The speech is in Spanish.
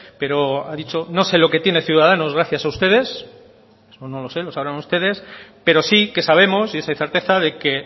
pero ha dicho no sé lo que tiene ciudadanos gracias a ustedes eso no lo sé lo sabrán ustedes pero sí que sabemos y es hoy certeza de que